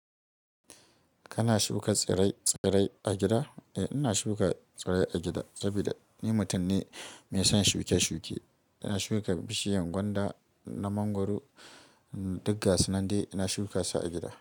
Kana shuka tsirrai-tsirrai a gida? Eh, ina shuka tsirrai a gida saboda ni mutum ne mai son shuƙe-shuƙe. Ina shuka bishiyan gwanda na mangwaro, duk ga su nan dai ina shuka su a gida.